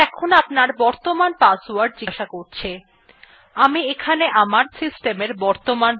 এটি আপনার বর্তমান password জিজ্ঞাসা করছে